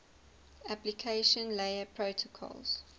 application layer protocols